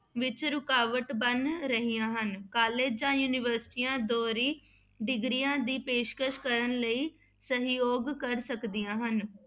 ਵਿੱਚ ਰੁਕਾਵਟ ਬਣ ਰਹੀਆਂ ਹਨ college ਜਾਂ ਯੂਨੀਵਰਸਟੀਆਂ ਦੋਹਰੀ degrees ਦੀ ਪੇਸ਼ਕਸ ਕਰਨ ਲਈ ਸਹਿਯੋਗ ਕਰ ਸਕਦੀਆਂ ਹਨ।